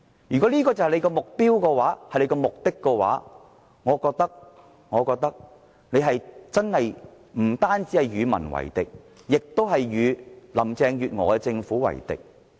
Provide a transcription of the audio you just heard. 如果這就是他們的目的，我覺得他們不單是與民為敵，亦是與林鄭月娥政府為敵。